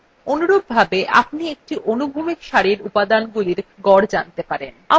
অনুরূপভাবে আপনি একটি অনুভূমিক সারির উপাদানগুলির গড় জানতে পারেন